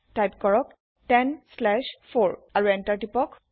type কৰক 10 slash 4 আৰু Enter টিপক